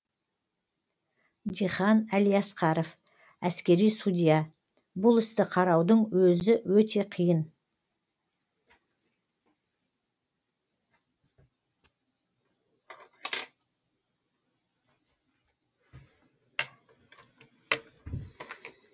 дихан әлиасқаров әскери судья бұл істі қараудың өзі өте қиын